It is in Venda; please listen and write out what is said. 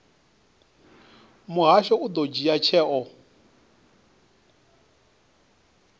muhasho u ḓo dzhia tsheo